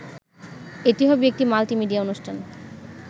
এটি হবে একটি মাল্টিমিডিয়া অনুষ্ঠান